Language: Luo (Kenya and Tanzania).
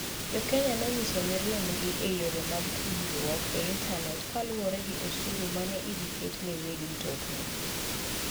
JoKenya ne onyiso mirimbgi e yore mag tudruok e intanet kaluwore gi osuru mane idhi ket ne weg mtokni.